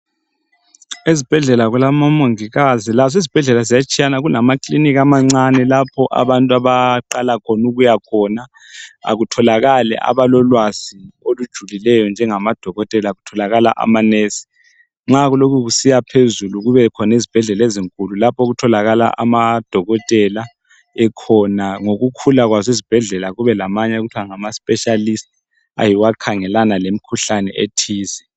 Ezibhedlela kulabomongikazi, lazo izibhedlela ziyatshiyana lamakilinika amancane lapho abantu abaqala khona ukuya khona. Akutholakali abalolwazi olujulileyo njengamadokotela, kutholakala amanesi. Nxa kulokhe kusiya phezulu kubekhona izibhedlela ezinkulu lapho okutholakala amadokotela ekhona, ngokukhula kwazo izibhedlela kube lamanye okuthiwa ngama specialists, ayiwo akhangelana lemkhuhlane ethize.